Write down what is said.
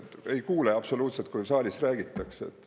Ei kuule absoluutselt, kui saalis räägitakse.